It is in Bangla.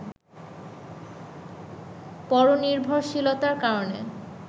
পরনির্ভশীলতার কারণে